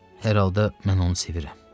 Hər halda mən onu sevirəm.